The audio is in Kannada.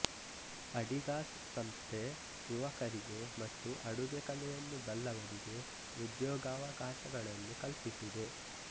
ಅಡಿಗಾಸ್ ಸಂಸ್ಥೆ ಯುವಕರಿಗೆ ಮತ್ತು ಅಡುಗೆ ಕಲೆಯನ್ನು ಬಲ್ಲವರಿಗೆ ಉದ್ಯೋಗಾವಕಾಶಗಳನ್ನು ಕಲ್ಪಿಸಿದೆ